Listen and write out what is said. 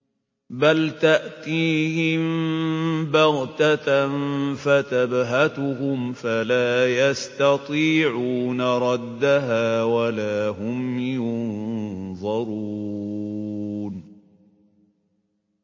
بَلْ تَأْتِيهِم بَغْتَةً فَتَبْهَتُهُمْ فَلَا يَسْتَطِيعُونَ رَدَّهَا وَلَا هُمْ يُنظَرُونَ